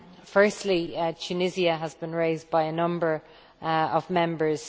Firstly, Tunisia has been raised by a number of Members.